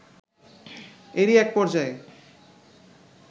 এরই এক পর্যায়ে